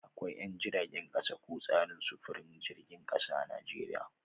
Akwai 'yan jiragen kasa ko tsarin sufurin jiragen kasa a Najeriya